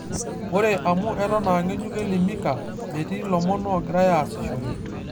Ore amu eton aange'juk Elimikaa, metii lomon oogirai aasishore.